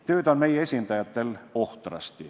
Tööd on meie esindajatel ohtrasti.